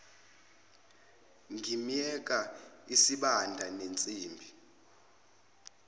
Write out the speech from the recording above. ngimyeka isibanda nensimbi